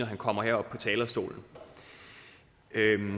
han kommer herop på talerstolen